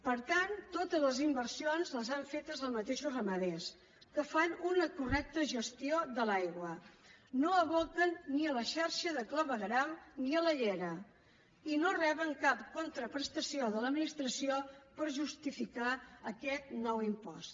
per tant totes les inversions les han fetes els mateixos ramaders que fan una correcta gestió de l’aigua no aboquen ni a la xarxa de clavegueram ni a la llera i no reben cap contraprestació de l’administració per justificar aquest nou impost